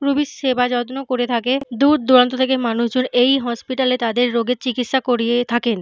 রুগীর সেবা যত্ন করে থাকে। দূরদূরান্ত থেকে মানুষজন এই হসপিটাল এ তাদের রোগের চিকিৎসা করিয়ে থাকেন।